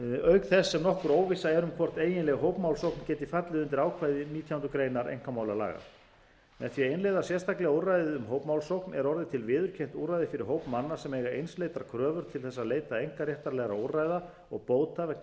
auk þess sem nokkur óvissa er um hvort eiginleg hópmálsókn geti fallið undir ákvæði nítjánda grein einkamálalaga með því að innleiða sérstaklega úrræðið um hópmálsókn er orðið til viðurkennt úrræði fyrir hóp manna sem eiga einsleitar kröfur til þess að leita einkaréttarlegra úrræða og bóta vegna